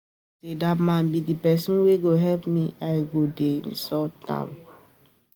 I no know say dat man be the person wey go help me I go dey insult am